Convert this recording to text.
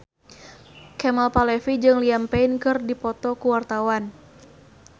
Kemal Palevi jeung Liam Payne keur dipoto ku wartawan